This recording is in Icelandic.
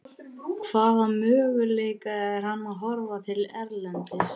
Hvaða möguleika er hann að horfa til erlendis?